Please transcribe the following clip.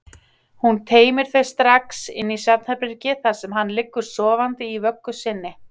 Hún teymir þau strax inn í svefnherbergi þar sem hann liggur sofandi í vöggu sinni.